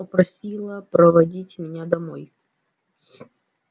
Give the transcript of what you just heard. попросила проводить меня домой